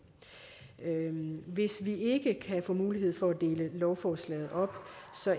hvis vi ikke kan få mulighed for at dele lovforslaget op